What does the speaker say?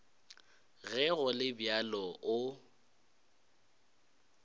ge go le bjalo o